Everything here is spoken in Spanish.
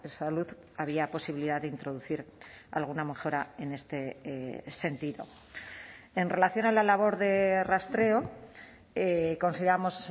salud había posibilidad de introducir alguna mejora en este sentido en relación a la labor de rastreo consideramos